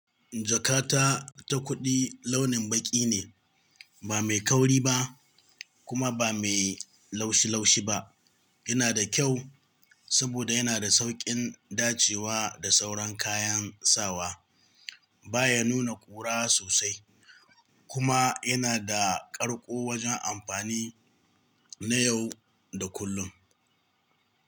Jakata ta kuɗi launin baƙi ne, ba mai kauri ba kuma ba mai laushi-laushi ba. Yana da kyau saboda yana da sauƙin dacewa da sauran kayan sawa. Ba ya nuna ƙura sosai kuma yana da ƙarƙo wajen amfani na yau da kullun.